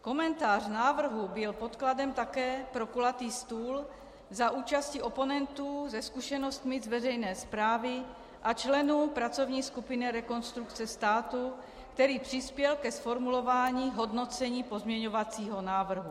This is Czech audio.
Komentář návrhu byl podkladem také pro kulatý stůl za účasti oponentů se zkušenostmi z veřejné správy a členů pracovní skupiny Rekonstrukce státu, který přispěl ke zformulování hodnocení pozměňovacího návrhu.